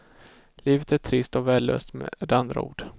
Livet är trist och värdelöst, med andra ord.